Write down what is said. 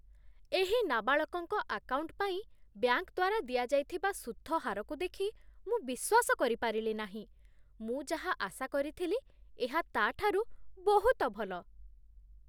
ଏହି ନାବାଳକଙ୍କ ଆକାଉଣ୍ଟ ପାଇଁ ବ୍ୟାଙ୍କ ଦ୍ୱାରା ଦିଆଯାଇଥିବା ସୁଧ ହାରକୁ ଦେଖି ମୁଁ ବିଶ୍ୱାସ କରିପାରିଲି ନାହିଁ! ମୁଁ ଯାହା ଆଶା କରିଥିଲି ଏହା ତା'ଠାରୁ ବହୁତ ଭଲ।